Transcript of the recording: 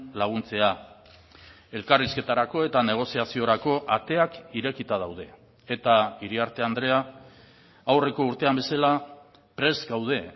laguntzea elkarrizketarako eta negoziaziorako ateak irekita daude eta iriarte andrea aurreko urtean bezala prest gaude